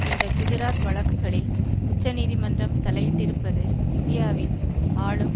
இந்த குஜராத் வழக்குகளில் உச்சநீதிமன்றம் தலையிட்டிருப்பது இந்தியாவின் ஆளும்